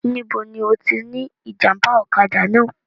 Níbo ni ó ti ní ìjàmbá ọ̀kadà náà?